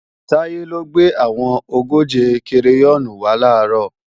Táyọ̀ ló gbé àwọn ogóje kireyọ́ọ̀nì wá làárọ̀